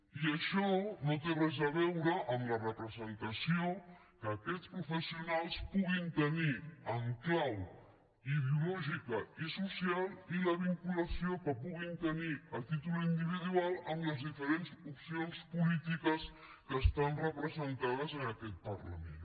i això no té res a veure amb la representació que aquests professionals puguin tenir en clau ideològica i social i la vinculació que puguin tenir a títol individual amb les diferents opcions polítiques que estan representades en aquest parlament